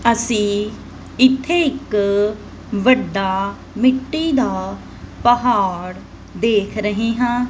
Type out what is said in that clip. ਅੱਸੀ ਇੱਥੇ ਇੱਕ ਵੱਡਾ ਮਿੱਟੀ ਦਾ ਪਹਾੜ ਦੇਖ ਰਹੇ ਹਾਂ।